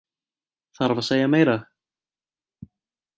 Þarf að segja meira?